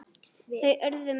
Þau urðu mörg síðan.